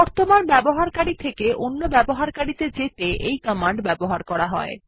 বর্তমান ব্যবহারকারী থেকে অন্য ব্যবহারকারী ত়ে যেতে এই কমান্ড ব্যবহার করা হয়